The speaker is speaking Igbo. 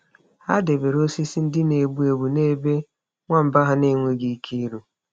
Ha debere osisi ndị na-egbu egbu n’ebe nwamba ha enweghị ike iru.